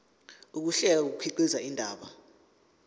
ukuhlela kukhiqiza indaba